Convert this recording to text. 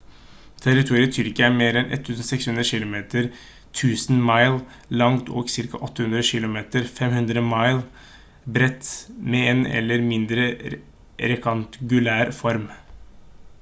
territoriet tyrkia er mer enn 1 600 kilometer 1000 mi langt og 800 km 500 mi bredt med en mer eller mindre rektangulær form